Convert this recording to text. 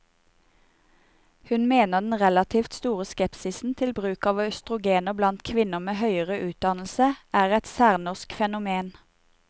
Hun mener den relativt store skepsisen til bruk av østrogener blant kvinner med høyere utdannelse, er et særnorsk fenomen.